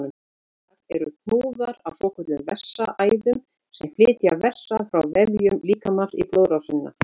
Eitlar eru hnúðar á svokölluðum vessaæðum sem flytja vessa frá vefjum líkamans í blóðrásina.